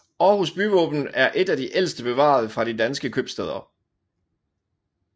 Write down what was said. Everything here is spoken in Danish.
Aarhus byvåben er et af de ældste bevarede fra de danske købstæder